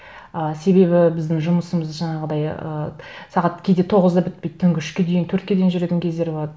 ы себебі біздің жұмысымыз жаңағыдай ыыы сағат кейде тоғызда бітпейді түнгі үшке дейін төртке дейін жүретін кездер болады